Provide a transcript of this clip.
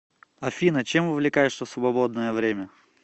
афина чем увлекаешься в свободное время